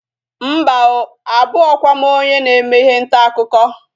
Mba oo, abụghọkwa m onye na-eme ihe ntaakụkọ